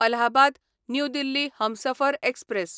Allahabad new Delhi Humsafar express